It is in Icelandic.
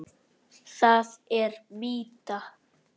Það er mýta.